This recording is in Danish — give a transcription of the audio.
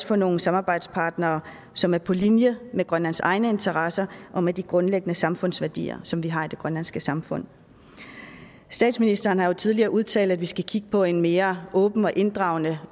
for nogle samarbejdspartnere som er på linje med grønlands egne interesser og med de grundlæggende samfundsværdier som vi har i det grønlandske samfund statsministeren har jo tidligere udtalt at vi skal kigge på en mere åben og inddragende